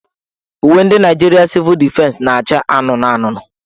Uwe ndị Nigeria Civil Defense naacha anụnụanụnụ.